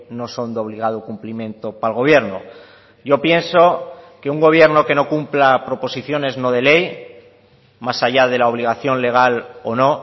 no son de obligado cumplimiento para el gobierno yo pienso que un gobierno que no cumpla proposiciones no de ley más allá de la obligación legal o no